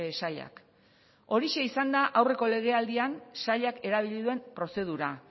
sailak horixe izan da aurreko legealdian sailak erabili duen prozedura